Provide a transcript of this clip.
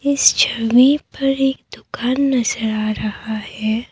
इस छवि पर एक दुकान नजर आ रहा है।